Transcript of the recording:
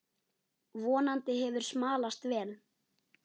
Vonandi hefur smalast vel.